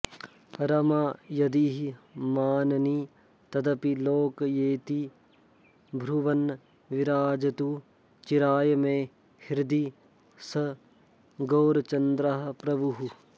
रमा यदिह मानिनी तदपि लोकयेति ब्रुवन् विराजतु चिराय मे हृदि स गौरचन्द्रः प्रभुः